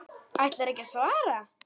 Ætlarðu ekki að svara?